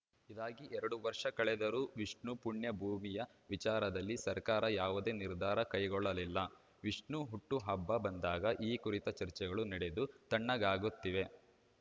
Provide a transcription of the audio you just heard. ಇದಾಗಿ ಎರಡು ವರ್ಷ ಕಳೆದರೂ ವಿಷ್ಣು ಪುಣ್ಯಭೂಮಿಯ ವಿಚಾರದಲ್ಲಿ ಸರ್ಕಾರ ಯಾವುದೇ ನಿರ್ಧಾರ ಕೈಗೊಳ್ಳಲಿಲ್ಲ ವಿಷ್ಣು ಹುಟ್ಟುಹಬ್ಬ ಬಂದಾಗ ಈ ಕುರಿತು ಚರ್ಚೆಗಳು ನಡೆದು ತಣ್ಣಗಾಗುತ್ತಿವೆ